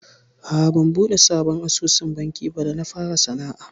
A'a ban buɗe sabon asusun banki ba da na fara sana'a.